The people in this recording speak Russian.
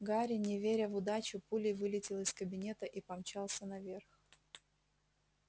гарри не веря в удачу пулей вылетел из кабинета и помчался наверх